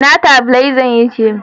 Ina tabilazar take?